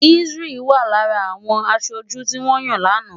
Isreal wà lára àwọn aṣojú tí wọ́n yàn lánàá.